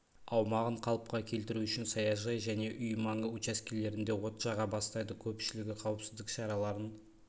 аумағын қалыпқа келтіру үшін саяжай және үй маңы учаскелерінде от жаға бастайды көпшілігі қауіпсіздік шараларын